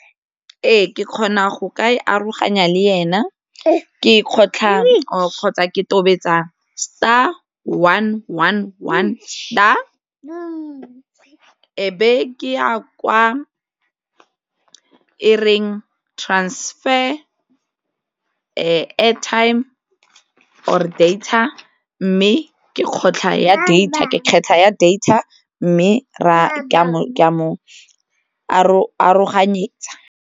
Ee, ke kgona go ka e aroganya le ena, ke e kgotlha kgotsa ke tobetsa star, one, one, one, star, e be ke ya kwa e reng transfer airtime or data mme ke kgotlha ya data ke kgetlha ya data mme ke a mo aroganyetsa.